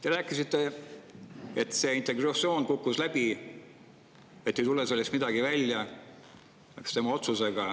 Te rääkisite, et integratsioon kukkus läbi, et sellest ei tule midagi välja.